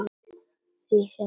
Því sem hafði gerst.